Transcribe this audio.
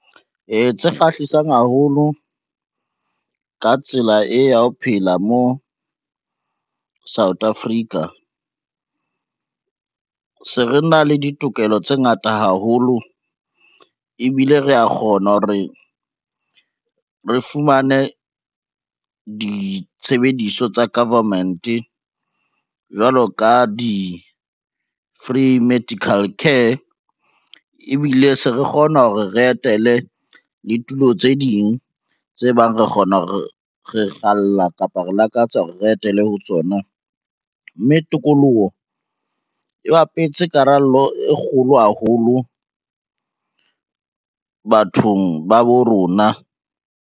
Tse kgahlisang haholo ka tsela e ya ho phela mo South Africa, se re na le ditokelo tse ngata haholo ebile rea kgona ho re re fumane ditshebediso tsa government, jwalo ka di-free medical care. Ebile se re kgona hore re etele le tulo tse ding tse bang re kgalla kapa re lakatsa hore re etele ho tsona, mme tokoloho e bapetse karolo e kgolo haholo bathong ba bo rona.